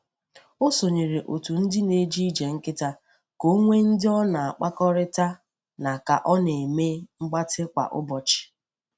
O sonyere otu ndị na-eje ije nkịta ka ọ nwee ndị ọ na-akpakọrịta na ka ọ na-eme mgbatị kwa ụbọchị.